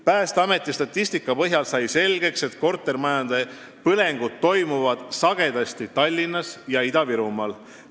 Päästeameti statistika põhjal on selgeks saanud, et kortermajade põlengud toimuvad sagedasti Tallinnas ja Ida-Virumaal.